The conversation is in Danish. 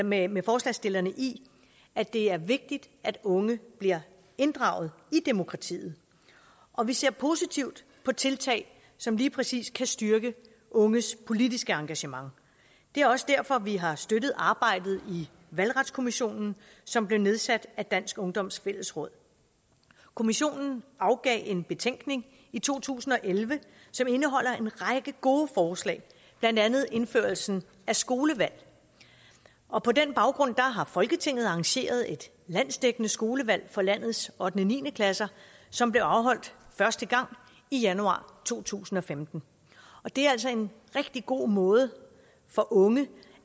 med med forslagsstillerne i at det er vigtigt at unge bliver inddraget i demokratiet og vi ser positivt på tiltag som lige præcis kan styrke unges politiske engagement det er også derfor vi har støttet arbejdet i valgretskommissionen som blev nedsat af dansk ungdoms fællesråd kommissionen afgav en betænkning i to tusind og elleve som indeholder en række gode forslag blandt andet indførelsen af skolevalg og på den baggrund har folketinget arrangeret et landsdækkende skolevalg for landets ottende ni klasser som blev afholdt første gang i januar to tusind og femten det er altså en rigtig god måde for unge